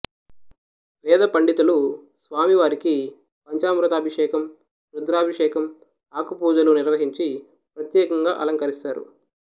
వేదపండితులు స్వామివారికి పంచామృతాభిషేకం రుద్రాభిషేకం ఆకుపూజలు నిర్వహించి ప్రత్యేకంగా అలంకరిస్తారు